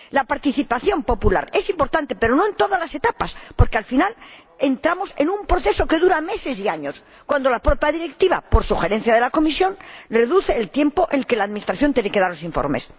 La participación popular es importante, pero no en todas las etapas, porque al final, entramos en un proceso que dura meses y años, cuando la propia Directiva, por sugerencia de la Comisión, reduce el tiempo en el que la administración tiene que entregar los informes.